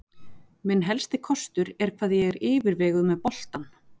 Minn helsti kostur er hvað ég er yfirveguð með boltann.